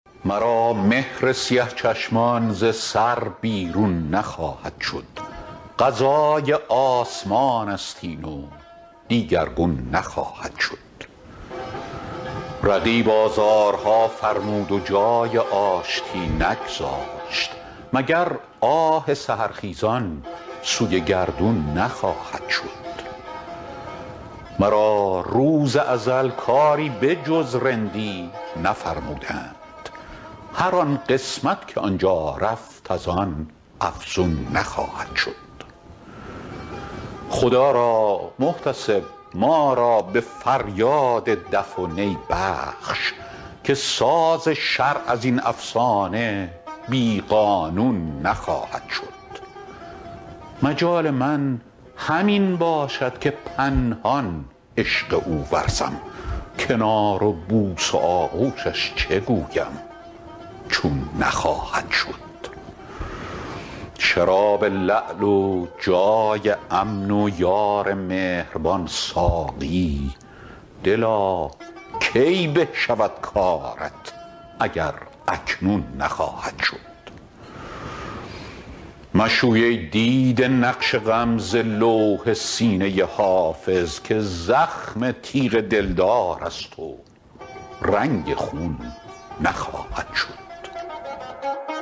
مرا مهر سیه چشمان ز سر بیرون نخواهد شد قضای آسمان است این و دیگرگون نخواهد شد رقیب آزارها فرمود و جای آشتی نگذاشت مگر آه سحرخیزان سوی گردون نخواهد شد مرا روز ازل کاری به جز رندی نفرمودند هر آن قسمت که آن جا رفت از آن افزون نخواهد شد خدا را محتسب ما را به فریاد دف و نی بخش که ساز شرع از این افسانه بی قانون نخواهد شد مجال من همین باشد که پنهان عشق او ورزم کنار و بوس و آغوشش چه گویم چون نخواهد شد شراب لعل و جای امن و یار مهربان ساقی دلا کی به شود کارت اگر اکنون نخواهد شد مشوی ای دیده نقش غم ز لوح سینه حافظ که زخم تیغ دلدار است و رنگ خون نخواهد شد